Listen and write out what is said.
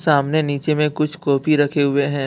सामने नीचे में कुछ कॉपी रखे हुए हैं।